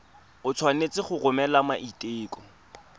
o tshwanetse go romela maiteko